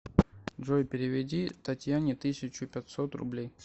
джой переведи татьяне тысячу пятьсот рублей